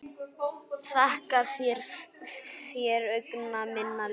Þakka þér, augna minna ljós.